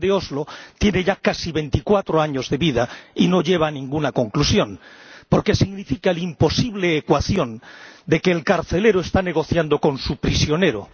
El plan de Oslo tiene ya casi veinticuatro años de vida y no lleva a ninguna conclusión, porque significa la imposible ecuación de que el carcelero está negociando con su prisionero.